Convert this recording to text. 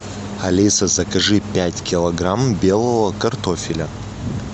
алиса закажи пять килограмм белого картофеля